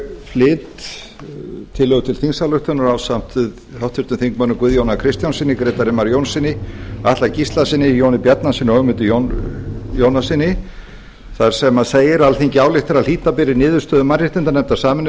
flyt tillögu til þingsályktunar ásamt háttvirtum þingmanni guðjóni a kristjánssyni grétari mar jónssyni atla gíslasyni jóni bjarnasyni og ögmundi jónassyni þar sem segir alþingi ályktar að hlíta beri niðurstöðu mannréttindanefndar sameinuðu